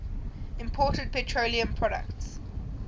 imported petroleum products